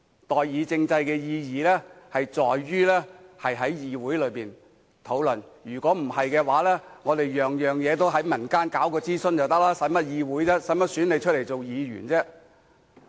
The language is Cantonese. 代議政制的意義是讓議會討論問題，否則將所有事情都在民間進行諮詢便可以，那便無需要議會，無需要選出議員了。